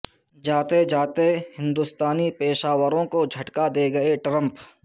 جاتے جاتے ہندوستانی پیشہ ور وں کو جھٹکا دے گئے ٹرمپ